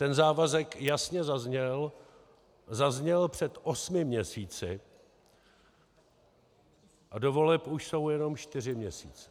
Ten závazek jasně zazněl, zazněl před osmi měsíci a do voleb jsou už jenom čtyři měsíce.